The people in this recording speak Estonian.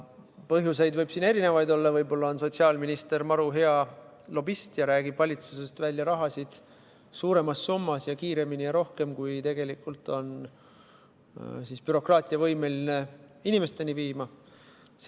Põhjuseid võib olla erinevaid, võib-olla on sotsiaalminister maru hea lobist ja räägib valitsusest välja raha suuremas summas ja kiiremini ja rohkem, kui bürokraatia on võimeline inimesteni viima.